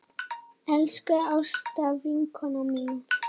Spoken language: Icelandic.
Elsku Ásta vinkona mín.